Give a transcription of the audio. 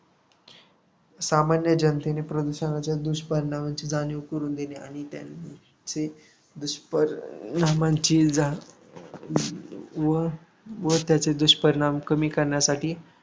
सामान्य जनतेने प्रदूषणाच्या दुष्पपरिणामांची जाणीव करून देणे आणि दुष्परिणामांची जा व व त्याचे दुष्परिणाम कमी करण्यासाठी